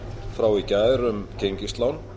frá í gær um gengislán